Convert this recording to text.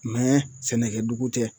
Mɛ sɛnɛkɛ dugu tɛ